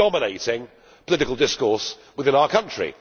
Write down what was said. It is dominating political discourse within our country.